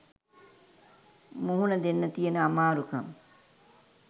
මුහුණ දෙන්න තියෙන අමාරුකම්?